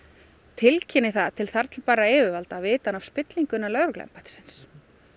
tilkynni það til þar til bærra yfirvalda viti hann af spillingu innan lögregluembættisins